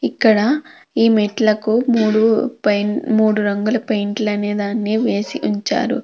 ఇక్కడ ఈ మెట్లకు మూడు పైన్ మూడు రంగుల పెయింట్లు అనేదాన్ని వేసి ఉంచారు.